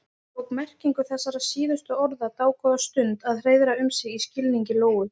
Það tók merkingu þessara síðustu orða dágóða stund að hreiðra um sig í skilningi Lóu.